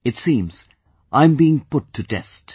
It seems I am being put to test